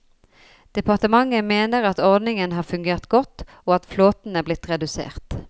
Departementet mener at ordningen har fungert godt, og at flåten er blitt redusert.